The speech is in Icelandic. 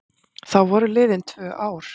Þá voru liðin tvö ár.